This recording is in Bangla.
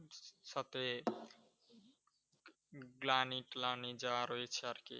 গ্লানি-ট্লানি যা রয়েছে আর কি।